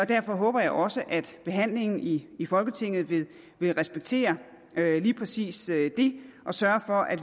derfor håber jeg også at behandlingen i i folketinget vil respektere lige præcis det og sørge for at